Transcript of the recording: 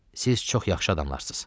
Siz çox yaxşı adamlarsız.